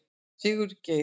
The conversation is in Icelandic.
Sigurgeir